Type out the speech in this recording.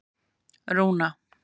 Rúna